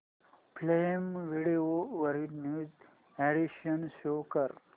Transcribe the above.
prime video वरील new additions show कर